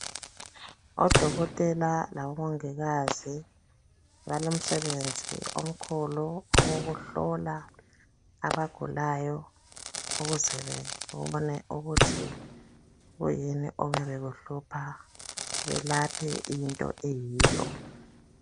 Odokotela labomongikazi balomsebenzi omkhulu okokuhlola abagulayo ukuze bebone ukuthi kuyini okwabe kuhlupha belaphe into eyiyo.